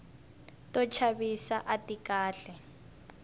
to chavisa ati kahle